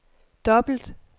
dobbelt